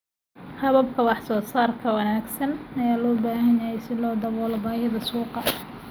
Hababka wax soo saarka ka wanaagsan ayaa loo baahan yahay si loo daboolo baahida suuqa.